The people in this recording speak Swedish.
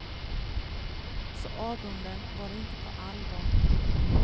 Så avunden var inte på allvar.